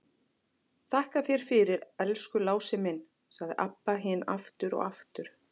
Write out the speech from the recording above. Þakka þér fyrir, elsku Lási minn, sagði Abba hin aftur og aftur.